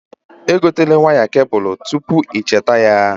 E gotela waya kebụlụ a tupu ị cheta ya.